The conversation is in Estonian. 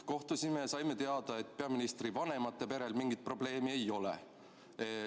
Kohtusime ja saime teada, et peaministri vanemate perel mingit probleemi ei ole.